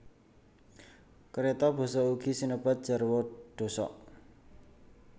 Kérata basa ugi sinebat jarwa dhosok